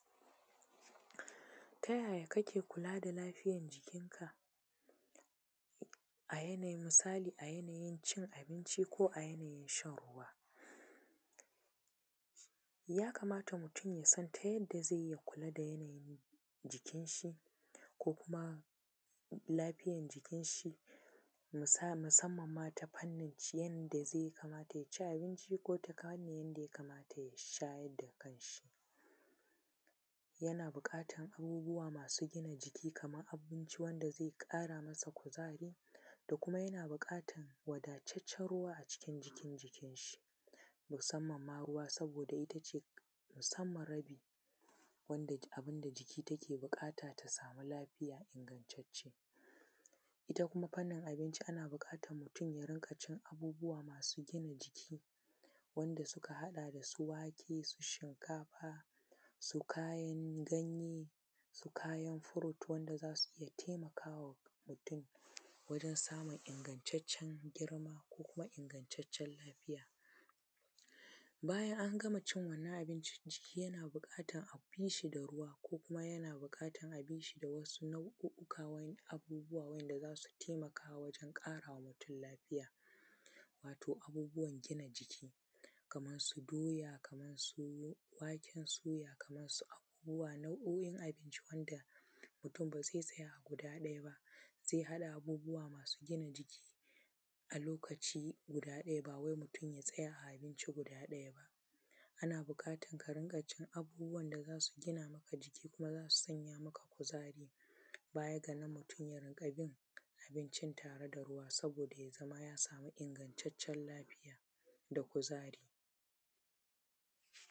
Ta yaya kake kula da lafiyan jikinka a yanayin cin abinci ko a yanayin shan ruwa? Ya kamata mutum ya san ta yanda zai yi kula da jikin shi ko kuma lafiyan jikin shi musanmanma ta yanda zai kamata ya ci abinci ko ta yanda ya kamaya ya sha, yana buƙatan abubuwa masu gina jiki kaman abu wanda zai ƙara masa kuzari da kuma yana buƙatan wadataccen ruwa a cikin jikin shi musanman ma ruwa saboda ita ce musanman abin da jiki take buƙata ta sa ma lafiya ingantacce, ita kuma fannanin abinci ana buƙatan mutum ya dinga cin abubuwa masu gina jiki wanda suka haɗa da su wake shinkafa su kayan ganye, su kayan fruit za su iya taimakawa wajen samun ingantaccen girma ko ingantaccen lafiya. Bayan an gama cin abinci yana buƙatan a bi shi da ruwa ko wasu nau’ukan abubuwa wanda za su taimaka wajen ƙarawa mutum lafiya wato abubuwan gina jiki Kaman su doya Kaman su waken soya Kaman su abubuwa nau’o’in abinci wanda mutum ba zai tsaya a guda ɗaya ba, zai haɗa abubuwa masu gina jiki a lokaci guda ɗaya ba wai mutum ya tsaya guda ɗaya ba ana buƙatan ka dinga cin abubuwan da za su gina maka jiki kuma za su ƙara maka kuzari, bayan nan mutum ya dinga bin abincin da ya zama ya sa ma ingantaccen lafiya da kuzari.